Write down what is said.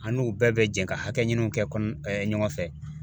An n'u bɛɛ bɛ jɛ ka hakɛɲiniw kɛ ɲɔgɔn fɛ.